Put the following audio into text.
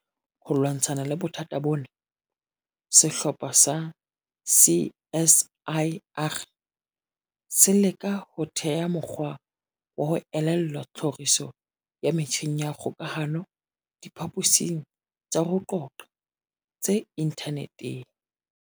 Ho lwantsha bothata bona, sehlopha sa CSIR se leka ho theha mokgwa wa ho elellwa tlhoriso ya metjheng ya kgokahano diphaposing tsa ho qoqa tse inthaneteng.